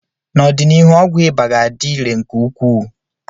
N'ọdịnihu ọgwụ ịba ga-adị irè nke ukwuu.